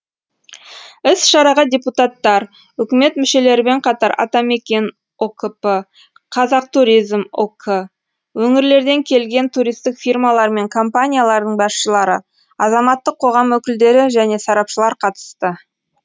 іс шараға депутаттар үкімет мүшелерімен қатар атамекен ұкп қазақтуризм ұк өңірлерден келген туристік фирмалар мен компаниялардың басшылары азаматтық қоғам өкілдері және сарапшылар қатысты